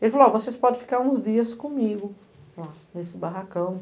Ele falou, ó, vocês podem ficar uns dias comigo lá, nesse barracão.